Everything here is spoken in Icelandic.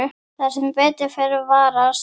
Það sem ber að varast